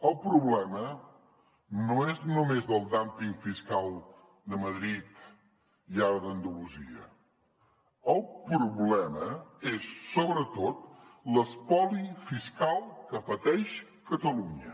el problema no és només el dúmping fiscal de madrid i ara d’andalusia el problema és sobretot l’espoli fiscal que pateix catalunya